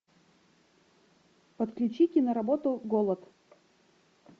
подключи киноработу голод